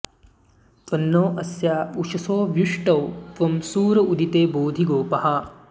त्वं नो॑ अ॒स्या उ॒षसो॒ व्यु॑ष्टौ॒ त्वं सूर॒ उदि॑ते बोधि गो॒पाः